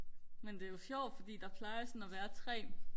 men det er jo sjovt fordi der plejer jo sådan og være tre